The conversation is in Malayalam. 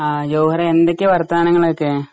ആ ജൌഹരേ എന്തൊക്കെയാ വർത്താനങ്ങളൊക്കെ?